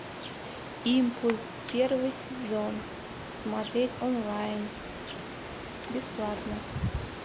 импульс первый сезон смотреть онлайн бесплатно